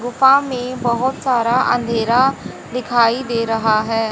गुफा में बहोत सारा अंधेरा दिखाई दे रहा है।